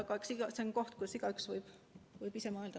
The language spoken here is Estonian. Aga see on teema, mille üle igaüks võib ise natuke mõelda.